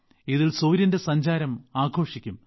ഇതിൽ സൂര്യന്റെ സഞ്ചാരം ആഘോഷിക്കും